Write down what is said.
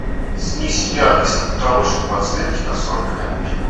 снизь яркость на потолочной подсветке на сорок минут